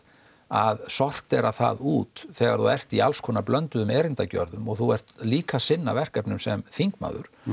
að sortera það út þegar þú ert í alls konar blönduðum erindagjörðum og þú ert líka að sinna verkefnum sem þingmaður